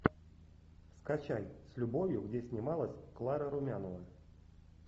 скачай с любовью где снималась клара румянова